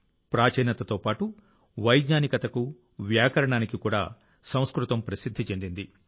ప్రాచీనతతో పాటు వైజ్ఞానికతకు వ్యాకరణానికి కూడా సంస్కృతం ప్రసిద్ది చెందింది